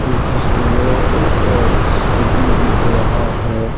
जिसमें एक एल_सी_डी दिख रहा है।